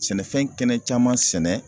Sɛnɛfɛn kɛnɛ caman sɛnɛ